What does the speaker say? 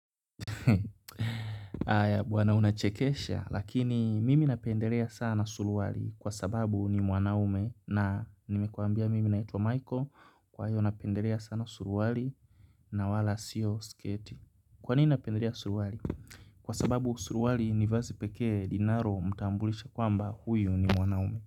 Haya bwana unachekesha lakini mimi napendelea sana suruali kwa sababu ni mwanaume na nimekwambia mimi naitwa Michael kwa hivyo napendelea sana suruali na wala siyo sketi Kwa nini napendelea suruali? Kwa sababu suruali ni vazi pekee linalomtambulisha kwamba huyu ni mwanaume.